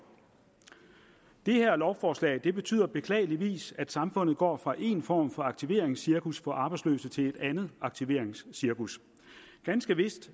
det her lovforslag betyder beklageligvis at samfundet går fra en form for aktiveringscirkus for arbejdsløse til et andet aktiveringscirkus ganske vist